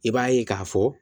I b'a ye k'a fɔ